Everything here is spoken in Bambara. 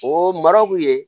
O mara kun ye